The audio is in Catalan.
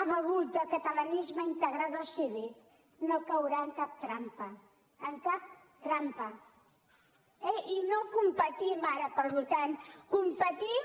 ha begut del catalanisme integrador cívic no caurà en cap trampa en cap trampa eh i no competim ara pel votant competim